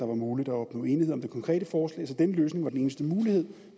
var muligt at opnå enighed om det konkrete forslag så denne løsning var den eneste mulighed